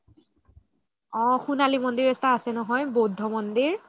অহ সোনালী মন্দিৰ এটা আছে নহয় বুদ্ধ মন্দিৰ